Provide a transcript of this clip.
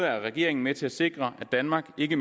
regeringen med til at sikre at danmark ikke